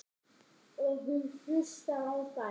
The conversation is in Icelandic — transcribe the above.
Og hún hlustar á þær.